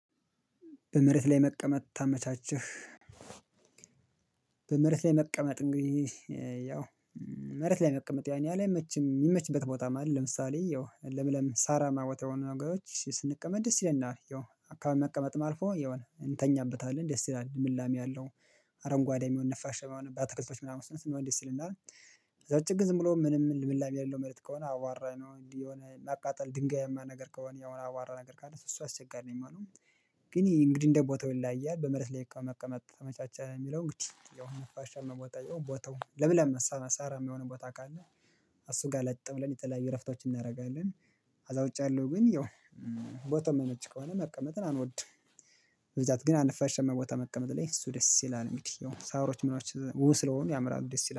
በመሬት ላይ መቀመጥ ታመቻችህ፤ በመሬት ላይ መቀመጥ እንግዲህ ያው መሬት ላይ መቀመጥ ያን ያህል አይመችም የሚመችበት ቦታማ አለ። ለምሳሌ ያው ለምለም ሳራማ ቦታ የሆኑ ነገሮች ስንቀመጥ ደስ ይለናል። ያው አካባቢ መቀመጥም አልፎ ይሆን እንተኛበታለን ደስ ይላል ልምላሜ አለው። አረንጓዴ የሚሆን ነፋሻማ የሚሆን በአተክልቶች ምናምን ውስጥ ስንሆን ደስ ይለናል። ከዛ ውጪ ግን ዝም ብሎ ምንም ልምላሜ የሌለው መልሬት ከሆነ አዋራ ነው እንዲህ የሆነ ማቃጠል ድንጋያማ ነገር ከሆነ ያው አዋራ ነገር ካለ እሱ አስቸጋሪ ነው የሚሆነው። ግን እንግዲህ እንደ ቦታው ይለያያል በመሬት ላይ መቀመጥ ተመቻቸ ለሚለው እንግዲህ የሆነ ነፋሻማ ቦታ ያው ቦታው ለምለም ሳራም የሆነ ቦታ ካለ እሱ ጋር ለጥ ብለን የተለያየ እረፍቶችን እናደርጋለን። ከዛ ውጭ ያለው ግን ያው ቦታው ማይመች ከሆነ መቀመጥን አንወድም። ብብዛት ግን አነፋሻማ ቦታ መቀመጥ ላይ እሱ ደስ ይላል እንግዲህ ያው ሳሮች ምኖች ውብ ስለሆኑ ያምራሉ ደስ ይላል።